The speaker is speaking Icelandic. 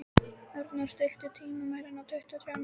Arndór, stilltu tímamælinn á tuttugu og þrjár mínútur.